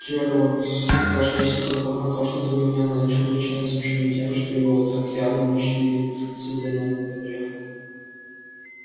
джералд откашлялся и пробормотал что-то невнятное чрезвычайно смущённый тем что его так явно уличили в содеянном добре